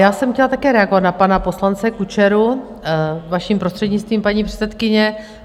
Já jsem chtěla také reagovat na pana poslance Kučeru, vaším prostřednictvím, paní předsedkyně.